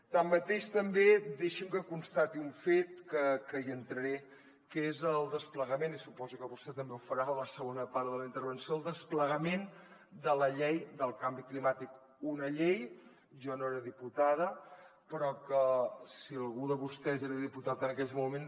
tanmateix també deixi’m que constati un fet que hi entraré que és el desplegament i suposo que vostè també ho farà en la segona part de la intervenció de la llei del canvi climàtic una llei jo no era diputada però que si algú de vostès era diputat en aquells moments